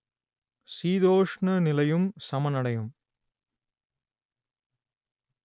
சீதோஷ்ண நிலையும் சமனடையும்